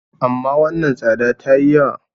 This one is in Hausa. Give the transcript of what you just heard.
amma wannan tsada ta yi yawa